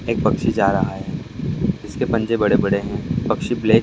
एक पक्षी जा रहा है। जिसके पंजे बड़े-बड़े हैं। पक्षी बेड --